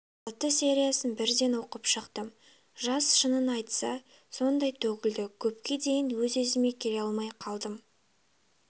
алты сериясын бірден оқып шықтым жас шынын айтса сондай төгілді көпке дейін өз-өзіме келе алмай қалдым